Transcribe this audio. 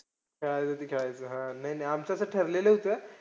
खेळायचं ते खेळायचं. हा. नाही नाही आमचं ते ठरलेलंचं आहे.